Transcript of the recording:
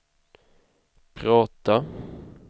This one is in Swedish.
prata